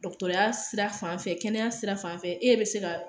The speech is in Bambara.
Dɔgɔtɔrɔya sira fanfɛ , kɛnɛya sira fanfɛ e be se ka